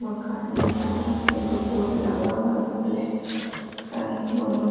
मकाने है वहां पर दो बोर्ड लगा हुआ है ब्लैक कलर का एक वो लोग --